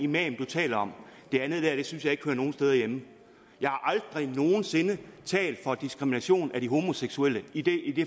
man taler om det andet der synes jeg ikke hører nogen steder hjemme jeg har aldrig nogen sinde talt for diskrimination af de homoseksuelle i det